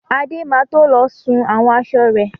Adé má to lọ sun àwọn aṣọ rẹ̀.